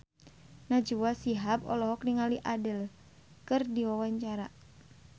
Najwa Shihab olohok ningali Adele keur diwawancara